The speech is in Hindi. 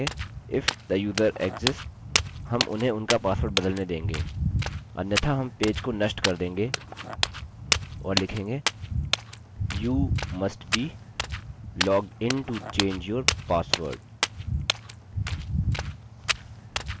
ठीक है अब हम लिखेंगे if the user exists हम उन्हें उनका पासवर्ड बदलने देंगे अन्यथा हम पेज को नष्ट कर देंगे और लिखेंगे you must be logged in to change your password